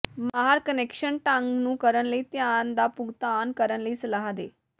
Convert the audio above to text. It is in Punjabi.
ਮਾਹਰ ਕੁਨੈਕਸ਼ਨ ਢੰਗ ਨੂੰ ਕਰਨ ਲਈ ਧਿਆਨ ਦਾ ਭੁਗਤਾਨ ਕਰਨ ਲਈ ਸਲਾਹ ਦੇ